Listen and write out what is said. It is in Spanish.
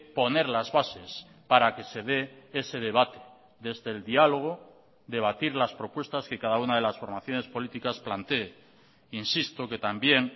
poner las bases para que se dé ese debate desde el diálogo debatir las propuestas que cada una de las formaciones políticas plantee insisto que también